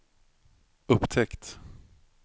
upptäckt